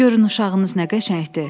"Görün uşağınız nə qəşəngdir!"